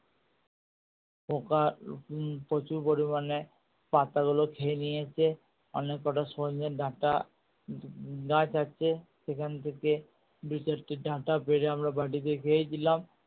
পোকা প্রচুর পরিমানে পাতা গুলো খেয়ে নিয়েছে অনেক কটা সচনে ডাটা উম গাছ আছে সেখান থেকে দু চারটে ডাটা পেরে আমরা বাড়িতে খেয়েছিলাম।।